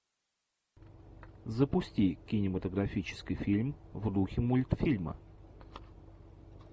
запусти кинематографический фильм в духе мультфильма